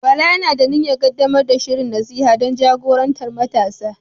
Bala yana da niyyar ƙaddamar da shirin nasiha don jagorantar matasa.